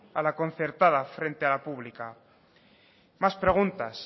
a la concertada frente a la pública más preguntas